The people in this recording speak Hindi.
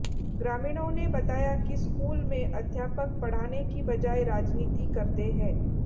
ग्रामीणों ने बताया कि स्कूल में अध्यापक पढ़ाने की बजाय राजनीति करते हैं